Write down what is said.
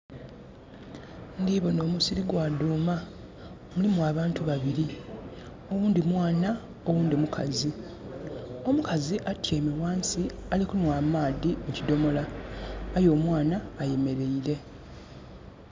Ndiboona omusiri gwa dhuuma. Mulimu abantu babili. Oghundhi mwana, oghundhi mukazi. Omukazi atyaime ghansi, ali kunhwa amaadhi ku kidhomola. Aye omwana ayemeleire.